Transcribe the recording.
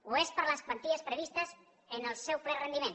ho és per les quanties previstes en el seu ple rendiment